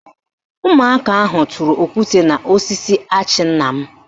Ụmụaka ahụ tụrụ okwute n'osisi achị nna m